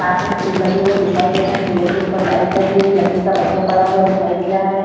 पास में फूल लगे हुए दिखाई दे रहे हैं फूलों के उपर लाइट लगी है एक लकड़ी का पटिया पड़ा हुआ दिखाई दे रहा है।